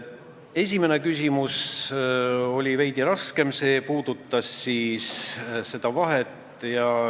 Esimene küsimus oli veidi raskem, see puudutas seda vahet.